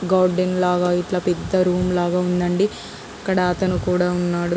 Garden లాగా ఇట్లా పెద్ద రూమ్స్ లాగా ఉండండి. ఇక్కడ అతను కూడా ఉన్నాడు.